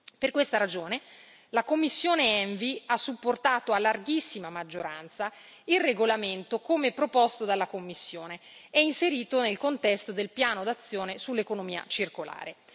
Per questa ragione, la commissione ENVI ha supportato a larghissima maggioranza il regolamento come proposto dalla Commissione e inserito nel contesto del piano d'azione sull'economia circolare.